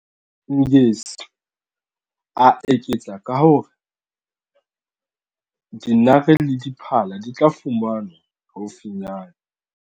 Ngesi, a eketsa ka ho re dinare le diphala di tla fumanwa haufinyane.